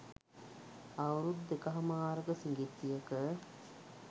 අවුරුදු දෙකහමාරක සිඟිත්තියක